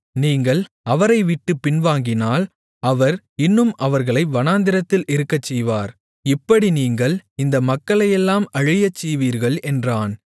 நீங்கள் அவரைவிட்டுப் பின்வாங்கினால் அவர் இன்னும் அவர்களை வனாந்திரத்தில் இருக்கச்செய்வார் இப்படி நீங்கள் இந்த மக்களையெல்லாம் அழியச்செய்வீர்கள் என்றான்